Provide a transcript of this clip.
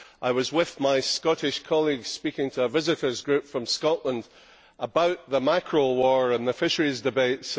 I was with my Scottish colleagues, speaking to a visitors' group from Scotland about the mackerel war and the fisheries debates.